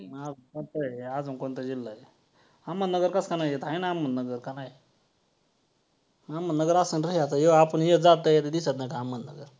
अजून कोणता जिल्हा आहे? अहमदनगर कसा नाही येत आहे ना अहमदनगर का नाही. अहमदनगर असन रे हे आपण ह्यो जाता येता दिसत नाही का अहमदनगर.